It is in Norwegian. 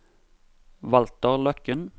Walter Løkken